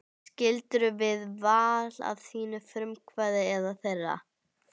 Skildirðu við Val af þínu frumkvæði eða þeirra?